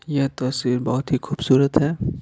यह तस्वीर बहुत ही खूबसूरत है।